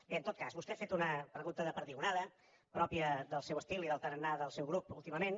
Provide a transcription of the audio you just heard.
bé en tot cas vostè ha fet una pregunta de perdigonada pròpia del seu estil i del tarannà del seu grup últimament